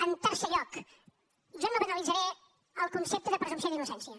en quart lloc jo no banalitzaré el concepte de presumpció d’innocència